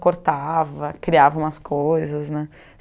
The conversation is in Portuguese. cortava, criava umas coisas né.